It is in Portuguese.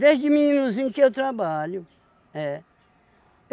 Desde meninozinho que eu trabalho. É.